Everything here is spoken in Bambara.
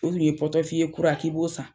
pɔrtɔfiye kura k'i b'o san.